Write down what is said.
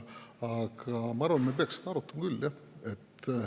Aga ma arvan, et me peaksime seda arutama küll, jah.